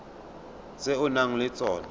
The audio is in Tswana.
tse o nang le tsona